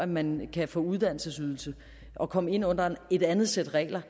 man kan få en uddannelsesydelse og komme ind under et andet sæt regler